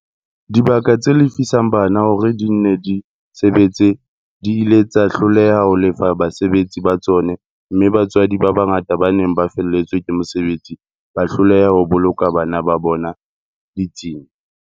Dibaka tse lefisang bana hore di nne di sebetse di ile tsa hloleha ho lefa basebetsi ba tsona mme batswadi ba bangata ba neng ba felletswe ke mosebetsi ba hloleha ho boloka bana ba bona ditsing.